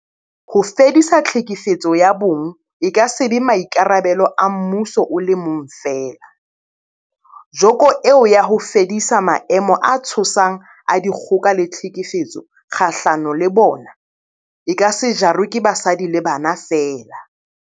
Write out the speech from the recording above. Ho fedisa tlhekefetso ya bong e ka se be maikarabelo a mmuso o le mong feela, joko eo ya ho fedisa maemo a tshosang a dikgoka le tlhekefetso kgahlano le bona, e ka se jarwe ke basadi le bana feela.